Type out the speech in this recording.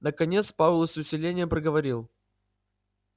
наконец пауэлл с усилением проговорил